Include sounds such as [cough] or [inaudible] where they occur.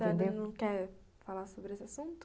[unintelligible] a senhora não quer falar sobre esse assunto?